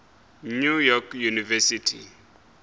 new york university